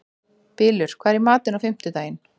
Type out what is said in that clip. Bylur, hvað er í matinn á fimmtudaginn?